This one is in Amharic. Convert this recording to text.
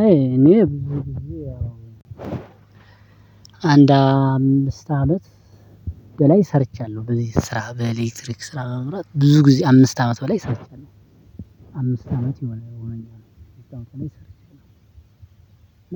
አይ እኔ አንድ አምስት አመት በላይ ሰርቻለሁ በዚህ ስራ በኤሌክትሪክ ስራ በመምራት ብዙ ጊዜ አምስት አመት በላይ ሰርቻለሁ አምስት አመት ሆኖኛል ከአምስት አመት በላይ ሰርቻለሁ።